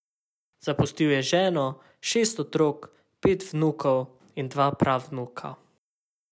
Zapustil je ženo, šest otrok, pet vnukov in dva pravnuka.